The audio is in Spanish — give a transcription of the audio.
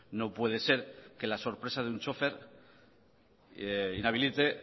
no puede ser que la sorpresa de un chófer inhabilite